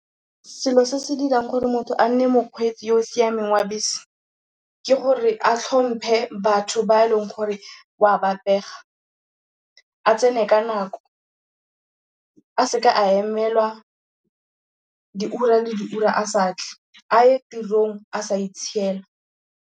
Selo se se dirang gore motho a nne mokgweetsi yo o siameng wa bese, ke gore a tlhomphe batho ba e leng gore wa ba pega. A tsene ka nako. A seka a emelwa diura le diura a sa tle. A ye tirong a sa itshiela.